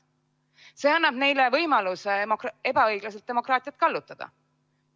See annab neile võimaluse ebaõiglaselt demokraatiat kallutada.